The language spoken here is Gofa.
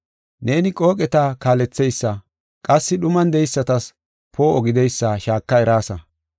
Neeni qooqeta kaaletheysa, qassi dhuman de7eysatas poo7o gideysa shaaka eraasa.